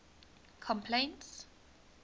complaints